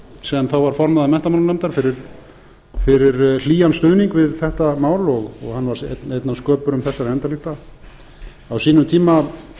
sem þá var formaður menntamálanefndar fyrir hlýjan stuðning við þetta mál og hann var einn af sköpurum þessara endalykta á sínum tíma